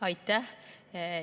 Aitäh!